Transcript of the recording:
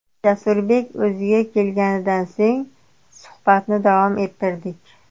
Jasurbek o‘ziga kelganidan so‘ng suhbatni davom ettirdik.